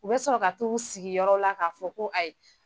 U bɛ sɔrɔ ka tu sigiyɔrɔ la ka fɔ ko ayi.